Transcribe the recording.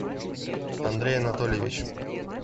андрей анатольевич